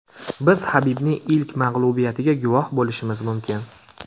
Biz Habibning ilk mag‘lubiyatiga guvoh bo‘lishimiz mumkin.